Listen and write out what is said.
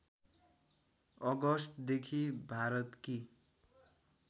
अगस्टदेखि भारतकी